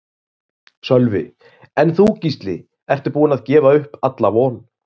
Sölvi: En þú Gísli, ertu búinn að gefa upp alla von?